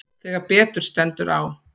Þegar betur stendur á